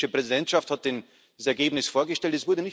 Nur die finnische Präsidentschaft hat das Ergebnis vorgestellt.